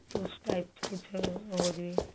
ਉਸ type ਵਿੱਚ ਕੁੱਝ ਹੋ ਜਾਵੇ